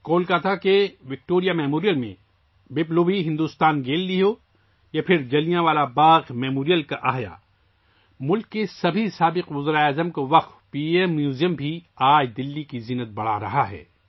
کولکاتہ کے Victoria memorial میں Biplobi Bharat gallery ہو یا جلیانوالہ باغ کی یادگار کی بحالی، ملک کے تمام سابق وزرائے اعظم کے لیے وقف پی ایم میوزیم بھی آج دلّی کی شان میں اضافہ کر رہا ہے